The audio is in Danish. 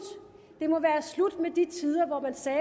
at slut med de tider hvor man sagde